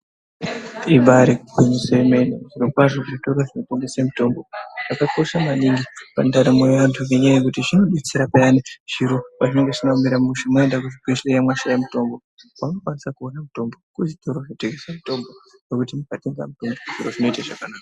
Ibari gwinyiso remene zviro kwazvo zvitoro zvinotengesa mitombo zvakakosha maningi mundaramo yevantu ngekuti zvinodetsera piyani zviro pazvinenge zvisina kumira mushe maenda kuchibhedhlera mashaya mitombo kwaunokwanisa kuona mutombo kuchitoro chinotengeswa mitombo zvekuti ukatenga mutombo zviro zvoita zvakanaka.